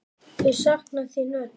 Þau sakna þín öll.